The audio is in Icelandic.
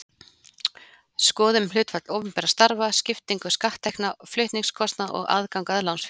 Skoðum hlutfall opinberra starfa, skiptingu skatttekna, flutningskostnað og aðgang að lánsfé.